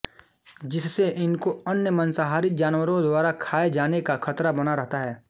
जिससे इनको अन्य मांसाहारी जानवरों द्वारा खाए जाने का खतरा बना रहता है